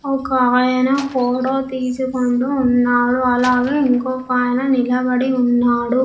ఒక ఆయన ఫోటో తీసుకుంటూ ఉన్నాడు అలాగే ఇంకొక ఆయన నిలబడి ఉన్నాడు.